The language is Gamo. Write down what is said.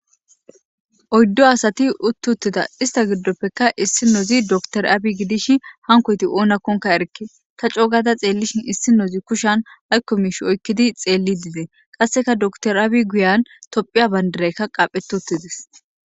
Oyddo asati uttuttida ista giddoppeka issi nozi doktor aabi gidishi hankoyti oonakkonka erke ta cogada xeellishin issi nozi kushan haykko miish oykkidi xeelli dize qasseka doktor aabi guyan tophiya bayndareykka qaphetuttidis